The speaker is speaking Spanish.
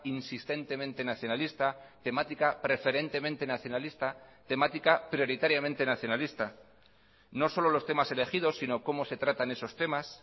insistentemente nacionalista temática preferentemente nacionalista temática prioritariamente nacionalista no solo los temas elegidos sino cómo se tratan esos temas